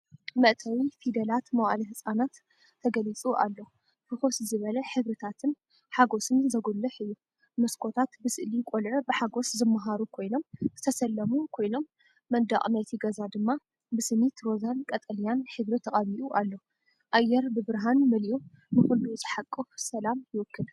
መእተዊ “ፊደላት መዋእለ ህጻናት” ተገሊጹ ኣሎ፣ ፍኹስ ዝበለ ሕብርታትን ሓጐስን ዘጉልሕ እዩ። መስኮታት ብስእሊ ቈልዑ ብሓጐስ ዝመሃሩ ኮይኖም ዝተሰለሙ ኮይኖም፡ መንደቕ ናይቲ ገዛ ድማ ብስኒት ሮዛን ቀጠልያን ሕብሪ ተቐቢኡ ኣሎ። ኣየር ብብርሃን መሊኡ ንኹሉ ዝሓቁፍ ሰላም ይውክል!